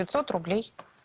пять сот рублей